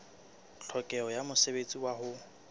tlhokeho ya mosebetsi wa ho